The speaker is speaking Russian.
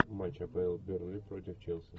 матч апл бернли против челси